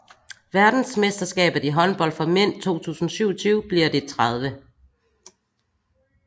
Verdensmesterskabet i håndbold for mænd 2027 bliver det 30